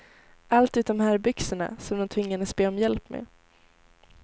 Allt utom herrbyxorna, som de tvingades be om hjälp med.